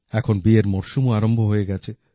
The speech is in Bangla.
এখন বিয়ের মরশুমও আরম্ভ হয়ে গেছে